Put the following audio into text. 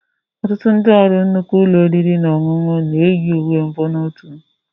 Ọtụtụ ndị ọrụ nnukwu ụlọ oriri na ọṅụṅụ na-eyi uwe mbonotu